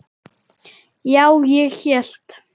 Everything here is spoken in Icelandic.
Já, ég hélt.